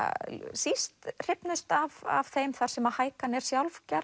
síst hrifnust af af þeim þar sem hækan er sjálf gerð